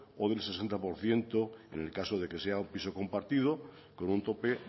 o del sesenta por ciento en el caso de que sea un piso compartido con un tope